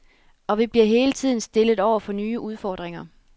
Og vi bliver hele tiden stillet over for nye udfordringer.